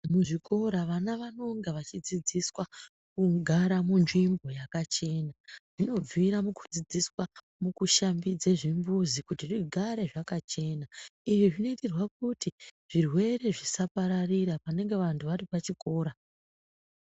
Muzvikora vana vanonga vachidzidziswa kugara munzvimbo yakachena, zvinobvira mukudzidziswa mukushambidze zvimbuzi kuti zvigare zvakachena, izvi zvinoitirwa kuti zvirwere zvisapararira panenge vantu varipachikora.